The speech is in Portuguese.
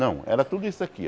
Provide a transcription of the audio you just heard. Não, era tudo isso aqui.